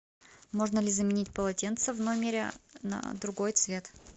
можно ли заменить полотенце в номере на другой цвет